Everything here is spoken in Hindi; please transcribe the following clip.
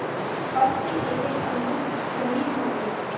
फर्श की एकएक अंगुल जमीन भर गयी